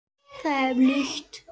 Það er bátur.